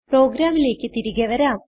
പ്രോഗ്രാമിലേക്ക് തിരികെ വരാം